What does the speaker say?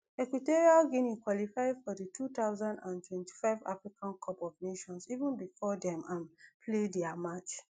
equatorial guinea qualify for di two thousand and twenty-five africa cup of nations even bifor dem um play dia match